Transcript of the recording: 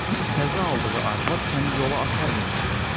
Təzə aldığı arvad səni yola aparmayacaqdır.